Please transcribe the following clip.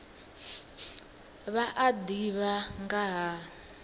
vha a ḓivha nga ha